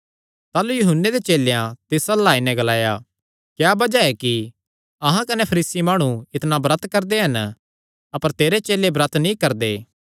ताह़लू यूहन्ने दे चेलेयां तिस अल्ल आई नैं ग्लाया क्या बज़ाह ऐ कि अहां कने फरीसी माणु इतणा ब्रत करदे हन अपर तेरे चेले ब्रत नीं करदे